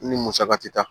Ni musaka tɛ taa